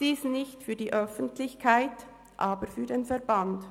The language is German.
Dies nicht für die Öffentlichkeit, aber für den Verband.